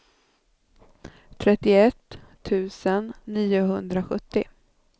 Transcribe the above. trettioett tusen niohundrasjuttio